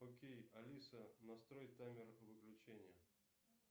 окей алиса настрой таймер выключения